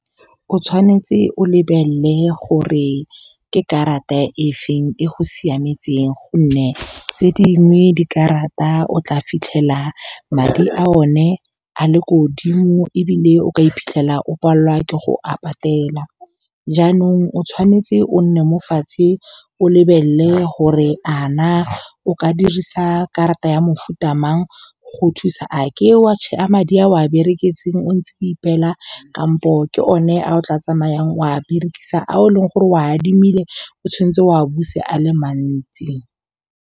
O tshwanetse o lebelele gore ke karata e feng e go siametseng, gonne tse dingwe dikarata o tla fitlhela madi a o ne a le ko godimo, ebile o ka iphitlhela o palelwa ke go a patela. Jaanong o tshwanetse o nne mo fatshe, o lebelele gore a na o ka dirisa karata ya mofuta mang go thusa. A ke wa madi a o a bereketseng, o ntse o ipeela kampo ke one a o tla tsamayang oa berekisa, a o leng gore o a adimile, o tshwanetse o a buse a le mantsi.